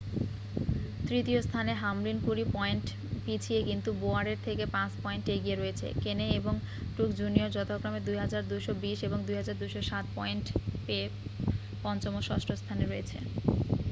তৃতীয় স্থানে হামলিন কুড়ি পয়েন্ট পিছিয়ে কিন্তু বোওয়ারের থেকে পাঁচ পয়েন্ট এগিয়ে রয়েছে কেনে এবং ট্রুক্স জুনিয়র যথাক্রমে 2,220 এবং 2,207 পয়েন্ট পেয়ে পঞ্চম ও ষষ্ঠ স্থানে রয়েছে